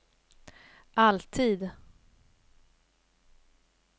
alltid